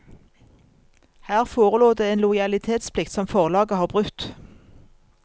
Her forelå det en lojalitetsplikt som forlaget har brutt.